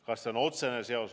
Kas see on otsene seos?